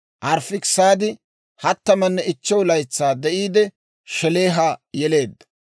Arifaakisaadi 35 laytsaa de'iide, Shelaaha yeleedda;